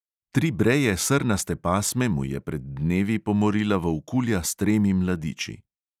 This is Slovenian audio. Tri breje, srnaste pasme mu je pred dnevi pomorila volkulja s tremi mladiči.